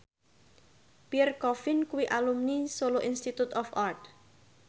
Pierre Coffin kuwi alumni Solo Institute of Art